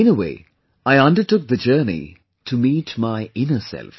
In a way, I undertook the journey to meet my inner self